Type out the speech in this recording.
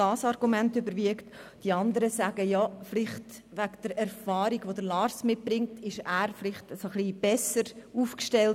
Bei 159 ausgeteilten und 159 eingegangenen Wahlzetteln, wovon leer 6 und ungültig 0, wird bei einem absoluten Mehr von 77 gewählt: